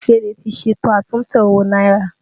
Emefiele ti ṣètò àtúntẹ̀ owó náírà